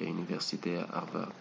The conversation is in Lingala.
ya université ya harvard